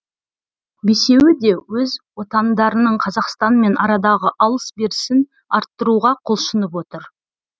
бесеуі де өз отандарының қазақстанмен арадағы алыс берісін арттыруға құлшынып отыр